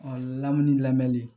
lamini lamɛnni